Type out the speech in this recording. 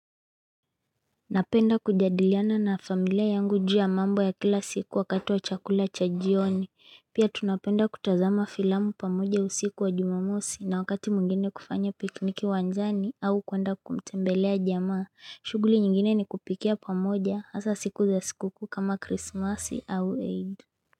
Napenda kujadiliana na familia yangu juu mambo ya kila siku wakati wa chakula cha jioni. Pia tunapenda kutazama filamu pamoja usiku wa jumamosi na wakati mwingine kufanya pikiniki wanzani au kuenda kumtembelea jamaa. Shughuli nyingine ni kupikia pamoja hasa siku za sikuku kama krismasi au EID.